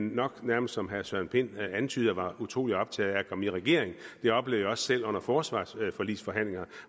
nok nærmest som herre søren pind antydede utrolig optagede af at komme i regering det oplevede jeg også selv under forsvarsforligsforhandlingerne